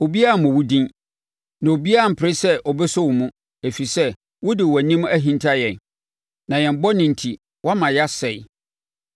Obiara mmɔ wo din, na obiara mpere sɛ ɔbɛso wo mu; ɛfiri sɛ wode wʼanim ahinta yɛn na yɛn bɔne enti woama yɛasɛe.